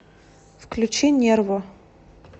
включи нерво